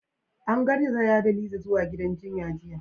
An garzaya da Lizzy zuwa gidan jinya jiya.